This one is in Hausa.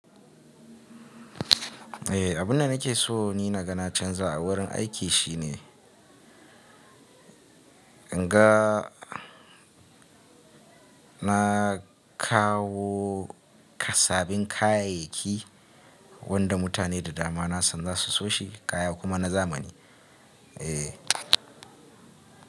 Eh, abun da nake so ni na ga na canza a wurin aiki shine in ga na kawo sabin kayayyaki wanda mutane da dama na san zasu soshi kaya kuma na zamani. Eh.